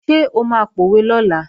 Ṣé o máa pòwe lọ́la?